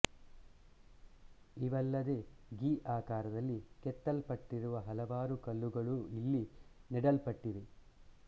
ಇವಲ್ಲದೆ ಗಿ ಆಕಾರದಲ್ಲಿ ಕೆತ್ತಲ್ಪಟ್ಟಿರುವ ಹಲವಾರು ಕಲ್ಲುಗಳೂ ಇಲ್ಲಿ ನೆಡಲ್ಪಟ್ಟಿವೆ